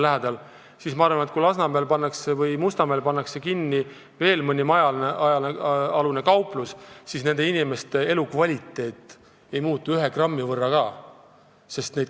Ma arvan, et kui Lasnamäel või Mustamäel pannakse kinni veel mõni majaalune kauplus, siis kohalike inimeste elukvaliteet ei muutu ühe grammi võrra ka.